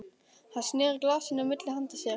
Hann sneri glasinu milli handa sér.